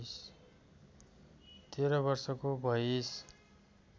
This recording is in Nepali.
१३ वर्षको भइस्